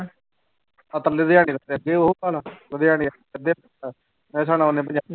ਜੋ ਦਿਹਾੜੀਆਂ ਕਰਦੇ